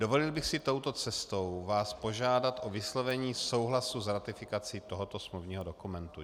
Dovolil bych si touto cestou vás požádat o vyslovení souhlasu s ratifikací tohoto smluvního dokumentu.